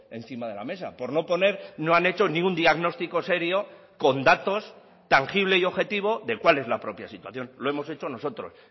encima de la mesa por no poner no han hecho ni un diagnóstico serio con datos tangible y objetivo de cuál es la propia situación lo hemos hecho nosotros